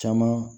Caman